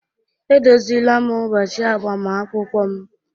Edozila m ụbọchị agbamakwụkwọ m